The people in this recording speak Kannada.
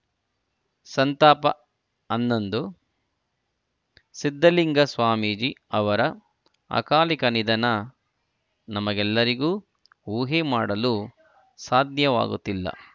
ಸಂತಾಪ ಹನ್ನೊಂದು ಸಿದ್ಧಲಿಂಗ ಸ್ವಾಮೀಜಿ ಅವರ ಅಕಾಲಿಕ ನಿಧನ ನಮಗೆಲ್ಲರಿಗೂ ಊಹೆ ಮಾಡಲೂ ಸಾಧ್ಯವಾಗುತ್ತಿಲ್ಲ